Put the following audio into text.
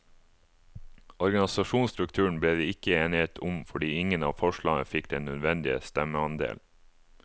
Organisasjonsstrukturen ble det ikke enighet om fordi ingen av forslagene fikk den nødvendige stemmeandel.